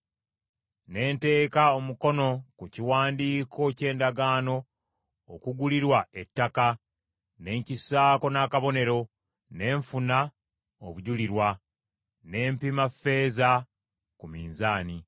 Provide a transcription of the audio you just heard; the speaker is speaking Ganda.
Ne nteeka omukono ku kiwandiiko ky’endagaano okugulirwa ettaka ne nkissaako n’akabonero, ne nfuna abajulirwa, ne mpima ffeeza ku minzaani.